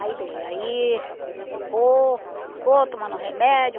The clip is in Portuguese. Aí, bem, aí... Ficou... Ficou tomando remédio.